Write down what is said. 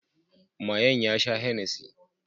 mayen sha ya sha Hennessy